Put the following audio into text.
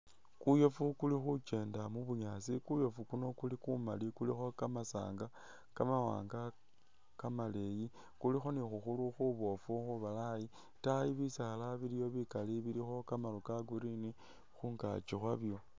Kuyofu kuli khukyendela mu'bunyaasi kuyofu kuuno kuli kumaali kulikho kamasanga kamawanga kamaleyi kulikho ni khukhuru khubofu khubalayi, itaayi bisaala biliyo bikaali bilikho kamaru ka'green khungaakyi khwabyo